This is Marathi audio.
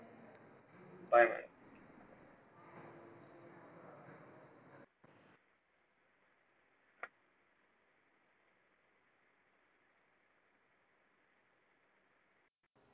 bye